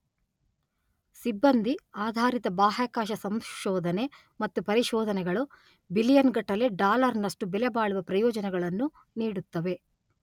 ಸಿಬ್ಬಂದಿ ಆಧಾರಿತ ಬಾಹ್ಯಾಕಾಶ ಸಂಶೋಧನೆ ಮತ್ತು ಪರಿಶೋಧನೆಗಳು ಬಿಲಿಯನ್ ಗಟ್ಟಲೆ ಡಾಲರ್ ನಷ್ಟು ಬೆಲೆಬಾಳುವ ಪ್ರಯೋಜನಗಳನ್ನು ನೀಡುತ್ತವೆ